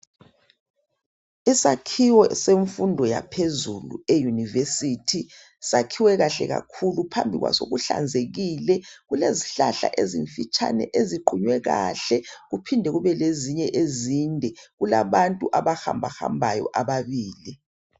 Isakhiwo semfundo yaphezulu eyunivesithi sakhiwe kahle kakhulu phambi kwaso kuhlanzekile. Kulezihlahla ezimfitshane eziqunywe kahle kuphinde kube lezinye ezinde. Kulabantu abahambahambayo ababili.